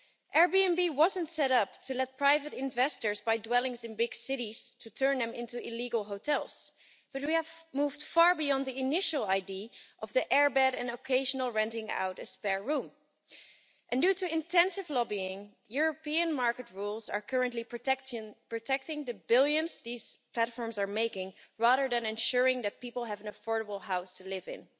Airbnb wasn't set up to let private investors buy dwellings in big cities to turn them into illegal hotels, but we have moved far beyond the initial idea of the airbed and occasional renting out of a spare room, and due to intensive lobbying European market rules are currently protecting the billions these platforms are making, rather than ensuring that people have an affordable house to live in.